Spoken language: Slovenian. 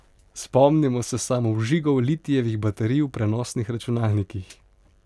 Spomnimo se samovžigov litijevih baterij v prenosnih računalnikih.